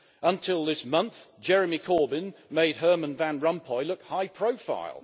Until this month, Jeremy Corbyn made Herman Van Rompuy look high profile.